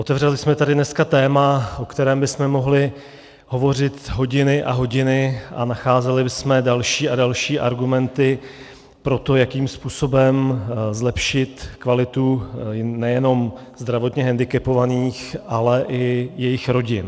Otevřeli jsme tady dneska téma, o kterém bychom mohli hovořit hodiny a hodiny, a nacházeli bychom další a další argumenty pro to, jakým způsobem zlepšit kvalitu nejenom zdravotně hendikepovaných, ale i jejich rodin.